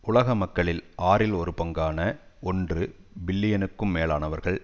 உலக மக்களில் ஆறில் ஒரு பங்கான ஒன்று பில்லியனுக்கும் மேலானவர்கள்